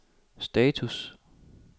status